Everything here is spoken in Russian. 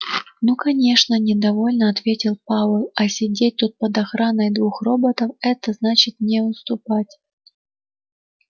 ну конечно недовольно ответил пауэлл а сидеть тут под охраной двух роботов это значит не уступать